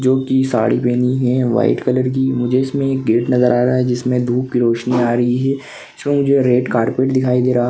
जो की साड़ी पहनी है व्हाइट कलर की मुझे इसमे एक गेट नजर आ रहा है जिसमे धूप की रोशनी आ रही है इसमे मुझे रेड कार्पेट दिखाई दे रहा--